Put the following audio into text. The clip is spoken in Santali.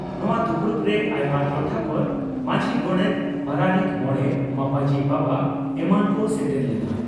ᱱᱚᱣᱟ ᱫᱩᱯᱲᱩᱵᱨᱮ ᱟᱭᱢᱟ ᱴᱚᱴᱷᱟ ᱠᱷᱚᱱ ᱢᱟᱹᱡᱷᱤ, ᱜᱚᱰᱮᱛ, ᱯᱟᱨᱟᱱᱤᱠ, ᱢᱚᱬᱮ ᱢᱟᱯᱟᱡᱤ ᱵᱟᱵᱟ ᱮᱢᱟᱱ ᱠᱚ ᱥᱮᱴᱮᱨ ᱞᱮᱱᱟ ᱾